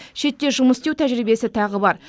шетте жұмыс істеу тәжірибесі тағы бар